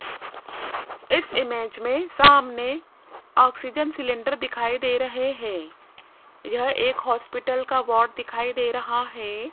इस इमेज में सामने ऑक्सीजन सिलेंडर दिखाइ दे रहे हैं यह एक हॉस्पिटल का वार्ड दिखाई दे रहा है।